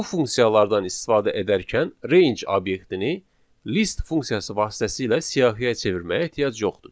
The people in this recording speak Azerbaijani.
Bu funksiyalardan istifadə edərkən range obyektini list funksiyası vasitəsilə siyahıya çevirməyə ehtiyac yoxdur.